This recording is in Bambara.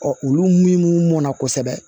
olu min mɔnna kosɛbɛ